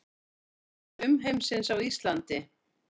Augu umheimsins á Íslandi